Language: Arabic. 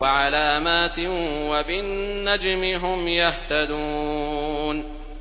وَعَلَامَاتٍ ۚ وَبِالنَّجْمِ هُمْ يَهْتَدُونَ